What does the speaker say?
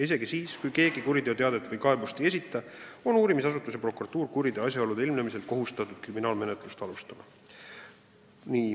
Isegi siis, kui keegi kuriteoteadet või kaebust ei esita, on uurimisasutus ja prokuratuur kuriteo asjaolude ilmnemisel kohustatud kriminaalmenetlust alustama.